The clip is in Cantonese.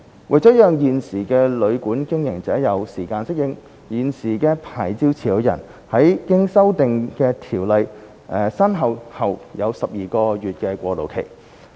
為了讓現時的旅館經營者有時間適應，現時的牌照持有人在經修訂的《條例》生效後有12個月過渡期。